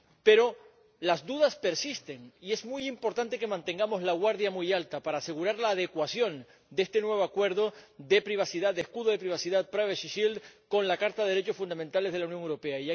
Pero las dudas persisten, y es muy importante que mantengamos la guardia muy alta para asegurar la adecuación de este nuevo acuerdo de privacidad, de escudo de privacidad privacy shield— con la Carta de los Derechos Fundamentales de la Unión Europea.